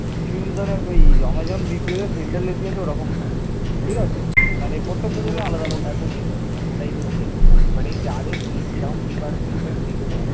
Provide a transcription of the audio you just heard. মানে চারের যেরকম department ভিতরে